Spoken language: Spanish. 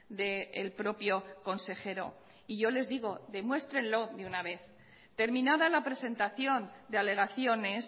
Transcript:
del propio consejero y yo les digo demuéstrenlo de una vez terminada la presentación de alegaciones